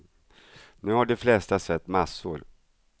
Nu har de flesta sett massor.